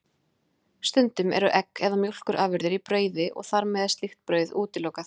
Stundum eru egg eða mjólkurafurðir í brauði og þar með er slíkt brauð útilokað.